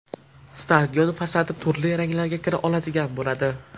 Stadion fasadi turli ranglarga kira oladigan bo‘ladi.